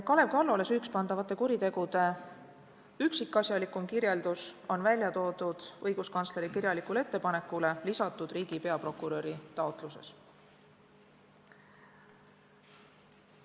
Kalev Kallole süüks pandavate kuritegude üksikasjalikum kirjeldus on toodud õiguskantsleri kirjalikule ettepanekule lisatud riigi peaprokuröri taotluses.